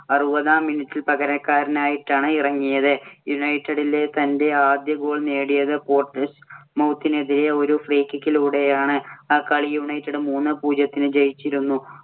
അറുപതാം minute പകരക്കാരനായിട്ടാണ് ഇറങ്ങിയത്. യുണൈറ്റഡിലെ തന്‍റെ ആദ്യ goal നേടിയത് പോര്‍ട്ട്‌സ്മൌത്തിനെതിരെ ഒരു free kick ഇലൂടെയാണ്. ആ കളി യുണൈറ്റഡ് മൂന്നേ പൂജ്യത്തിന് ജയിച്ചിരുന്നു.